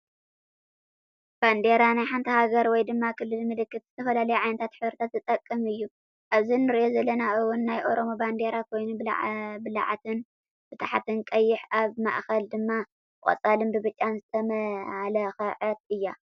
ባንዴራ፦ ናይ ሓንቲ ሃገር ወይ ድማ ክልል፣ ምልክት ዝተፈላለዩ ዓይነታት ሕብሪታት ዝጥቀም እዩ። ኣብዚ እንሪኣ ዘለና እውን ናይ ኦሮሞ ባንዴራ ኮይና ብላዕትን ብታሕትን ቀይሕ ኣብ ማእከል ድማ ብቆፃልን ብብጫን ዝተማላከዐት እያ።